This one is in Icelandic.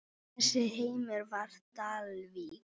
Þessi heimur var Dalvík.